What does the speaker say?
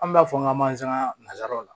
An b'a fɔ n ka mansaka na nsaaraw